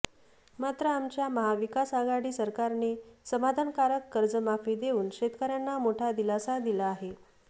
मात्र आमच्या महाविकासआघाडी सरकारने समाधानकारक कर्जमाफी देऊन शेतकऱ्यांना मोठा दिलासा दिला आहे